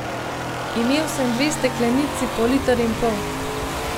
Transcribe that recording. Imel sem dve steklenici po liter in pol.